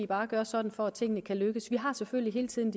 bare gøre sådan for at tingene kan lykkes vi har selvfølgelig hele tiden